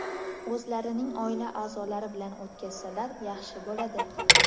o‘zlarining oila a’zolari bilan o‘tkazsalar yaxshi bo‘ladi.